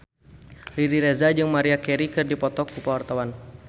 Riri Reza jeung Maria Carey keur dipoto ku wartawan